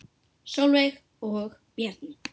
Sólveig og Bjarni.